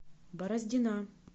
бороздина